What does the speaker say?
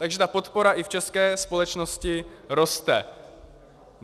Takže ta podpora i v české společnosti roste.